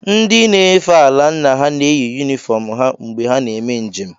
Ndị nefe ala nna ha na-eyi yunifọọm ha mgbe ha na-eme njem.